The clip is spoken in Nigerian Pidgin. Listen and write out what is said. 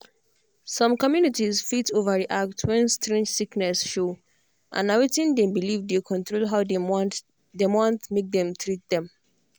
some communities fit overreact when strange sickness show and na wetin dem believe dey control how dem want dem want make dem treat dem.